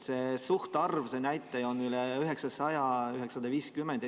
Sealne nakatumise suhtarv on üle 900–950.